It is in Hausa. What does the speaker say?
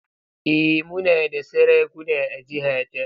Eh muna da sarakuna a jihata.